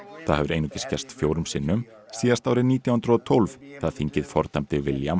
það hefur einungis gerst fjórum sinnum síðast árið nítján hundruð og tólf þegar þingið fordæmdi William